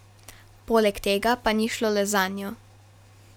Poleg tega pa ni šlo le zanjo.